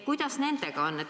Kuidas nendega on?